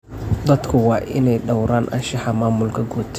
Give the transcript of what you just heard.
Dadku waa inay dhawraan anshaxa maamulka guud.